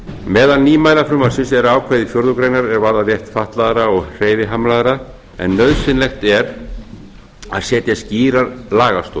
meðal nýmæla frumvarpsins eru ákvæði fjórðu grein er varða rétt fatlaðra og hreyfihamlaðra en nauðsynlegt að setja skýra lagastoð